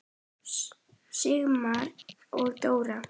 Sigmar og Dóra.